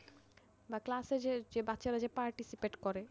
বা ক্লাসে যে বাচ্চারা participate করে,